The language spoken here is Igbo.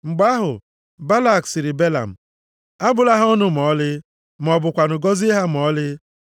Mgbe ahụ, Balak sịrị Belam, “Abụla ha ọnụ ma ọlị, ma ọ bụkwanụ gọzie ha ma ọlị.”